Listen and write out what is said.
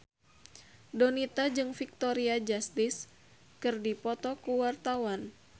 Donita jeung Victoria Justice keur dipoto ku wartawan